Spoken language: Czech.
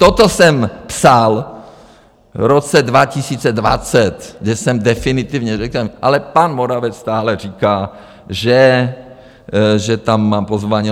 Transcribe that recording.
Toto jsem psal v roce 2020, kde jsem definitivně řekl, ale pan Moravec stále říká, že tam mám pozvání.